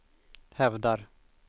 hävdar